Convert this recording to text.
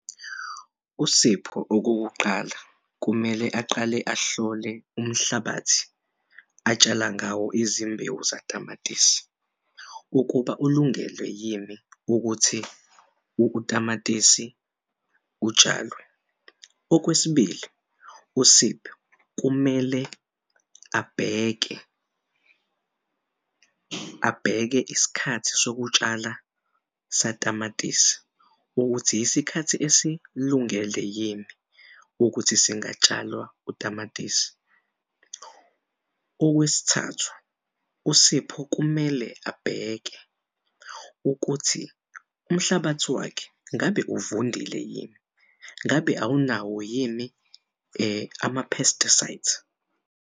USipho okokuqala kumele aqale ahlole umhlabathi atshala ngawo izimbewu zamatisi ukuba ulungele yini ukuthi utamatisi kutshalwe. Okwesibili, uSipho kumele abheke, abheke isikhathi sokutshala satamatisi ukuthi isikhathi esilungele yini ukuthi singatshalwa utamatisi. Okwesithathu, uSipho kumele abheke ukuthi umhlabathi wakhe ngabe uvundile yini ngabe awunawo yini ama-pesticides?